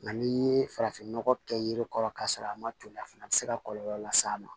Nka n'i ye farafinnɔgɔ kɛ yiri kɔrɔ k'a sɔrɔ a ma toli a fana bɛ se ka kɔlɔlɔ las'a ma